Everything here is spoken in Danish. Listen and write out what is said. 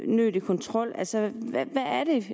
unødig kontrol altså hvad